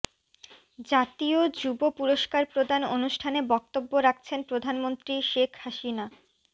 জাতীয় যুব পুরস্কার প্রদান অনুষ্ঠানে বক্তব্য রাখছেন প্রধানমন্ত্রী শেখ হাসিনা